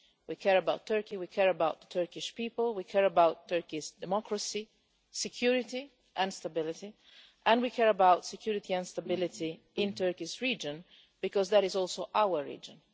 We care about Turkey, we care about the Turkish people, we care about Turkey's democracy, security and stability, and we care about security and stability in the Turkish region because it is also our region.